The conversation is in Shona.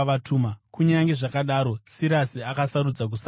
Kunyange zvakadaro, Sirasi akasarudza kusarapo.